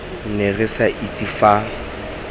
ne re sa itse fa